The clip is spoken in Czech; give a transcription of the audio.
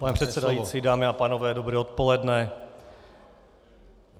Pane předsedající, dámy a pánové, dobré odpoledne.